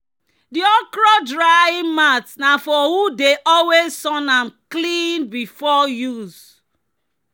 "di okra drying mat na for who dey always sun am clean before use."